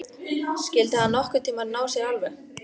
Skyldi hann nokkurn tíma ná sér alveg?